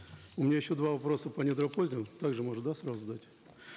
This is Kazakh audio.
у меня еще два вопроса по также можно да сразу дать